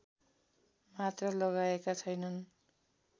मात्र लगाएका छैनन्